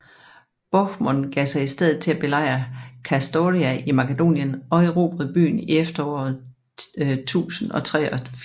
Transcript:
Bohemund gav sig i stedet til at belejre Kastoria i Makedonien og erobrede byen i efteråret 1083